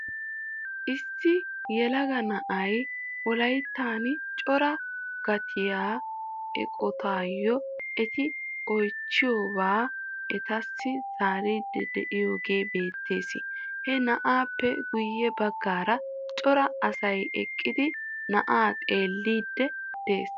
Issi yelaga na'ay wolayttaan coraa gattiyaa eqotaayoo eti oychchidobaa etassi zaaridi de'iyaage beettees. He na'aappe guye baggaara cora asay eqqidi na'aa xeelliidi de'ees.